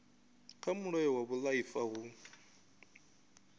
kha mulayo wa vhuaifa hu